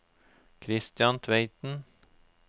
Kristian Tveiten